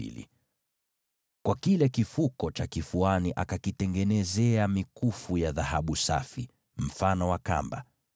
Kwa ajili ya kile kifuko cha kifuani akakitengenezea mikufu ya dhahabu safi, iliyosokotwa kama kamba.